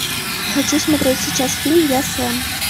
хочу смотреть сейчас фильм я сэм